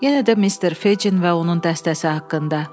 Yenə də mister Fecin və onun dəstəsi haqqında.